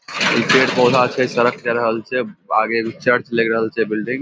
ई पेड़ पौधा छै | सड़क जाय रहल छै | आगे एगो चर्च लग रहल छै | बिल्डिंग --